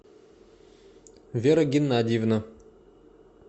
вера геннадьевна